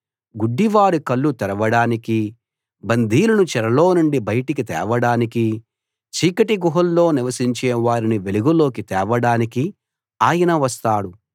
గుడ్డివారి కళ్ళు తెరవడానికీ బందీలను చెరలో నుండి బయటికి తేవడానికీ చీకటి గుహల్లో నివసించే వారిని వెలుగులోకి తేవడానికీ ఆయన వస్తాడు